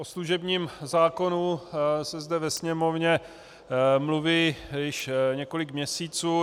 O služebním zákonu se zde ve Sněmovně mluví již několik měsíců.